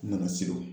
N nana se o